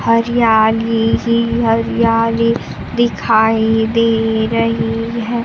हरियाली ही हरियाली दिखाई दे रही है।